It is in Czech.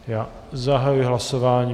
Já zahajuji hlasování.